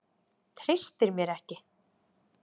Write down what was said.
Treystir mér ekki.